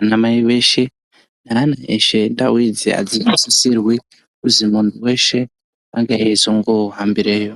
anamai eshe nevana veshe. Ndau idzi adzisisirwi kuzwi munhu weshe ange eizohambireyo.